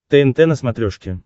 тнт на смотрешке